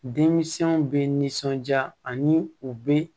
Denmisɛnw bɛ nisɔnja ani u bɛ